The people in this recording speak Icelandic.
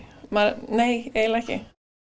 nei eiginlega ekki